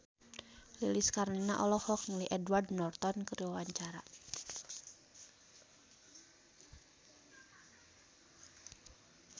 Lilis Karlina olohok ningali Edward Norton keur diwawancara